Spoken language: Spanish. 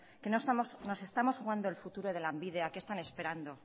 que nos estamos jugando el futuro de lanbide a qué están esperando